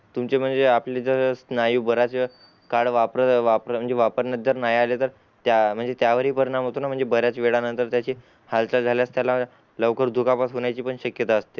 तुम्हचे म्हणजे आपले जर स्न्हयु बराच वेळ काळ वापर वापर वापरण्यात जर नई आला तर म्हणजे त्या वेळी परिणाम होतोना म्हणजे बरेच वेळा नंतर त्याचे हालचाल झाल्यास त्याला लवकर दुखापत होण्याची पण शक्यता असते